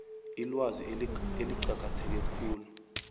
ilwazi eliqakatheke khulu